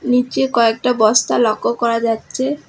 নীচে কয়েকটা বস্তা লক্য করা যাচ্ছে।